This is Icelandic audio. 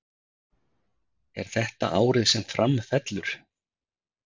Er þetta árið sem Fram fellur?